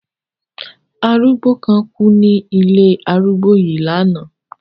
Arúgbó kan kú ní ilé arúgbó yìí lánàá.